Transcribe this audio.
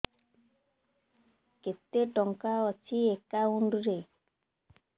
କେତେ ଟଙ୍କା ଅଛି ଏକାଉଣ୍ଟ୍ ରେ